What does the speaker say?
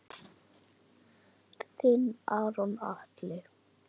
Þinn Aron Atli.